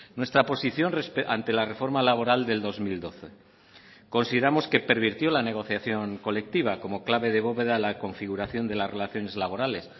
nuestra posición ante la reforma laboral del dos mil doce consideramos que pervirtió la negociación colectiva como clave de bóveda la configuración de las relaciones laborales